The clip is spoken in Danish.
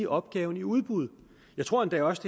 opgaven udbud jeg tror endda også